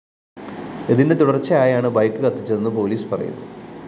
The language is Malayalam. ഇതിന്റെ തുടര്‍ച്ചയായാണ് ബൈക്ക് കത്തിച്ചതെന്ന് പോലീസ് പറയുന്നു